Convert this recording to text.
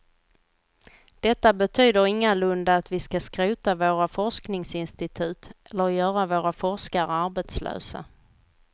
Detta betyder ingalunda att vi skall skrota våra forskningsinstitut eller göra våra forskare arbetslösa.